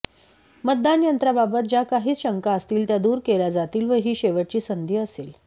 मतदान यत्रांबाबत ज्या काही शंका असतील त्या दूर केल्या जातील व ही शेवटची संधी असेल